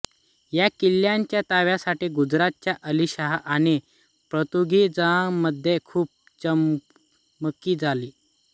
या किल्ल्याच्या ताब्यासाठी गुजरातच्या अली शाह आणि पोर्तुगीजांमध्ये खूप चकमकी झाल्या